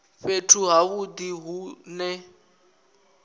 fhethu ha vhudi hu ne